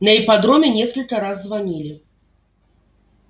на ипподроме несколько раз звонили